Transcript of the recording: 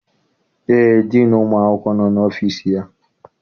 Eé, diinu ụmụ akwụkwọ nọ n'ọfịịsi ya.